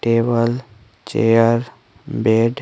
table chair bed --